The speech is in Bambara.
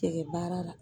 Tɛgɛ baara la